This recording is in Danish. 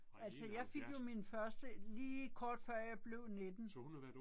Altså jeg fik jo min første lige kort før jeg blev 19